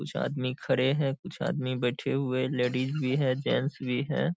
कुछ आदमी खड़े हैं। कुछ आदमी बैठे हुए हैं। लेडीज भी हैं। जेंट्स भी हैं।